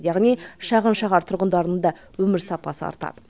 яғни шағын шаһар тұрғындарының да өмір сапасы артады